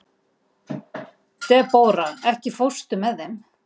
Debóra, ekki fórstu með þeim?